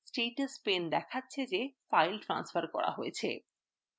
status pane দেখাচ্ছে the file স্থানান্তর করা হয়েছে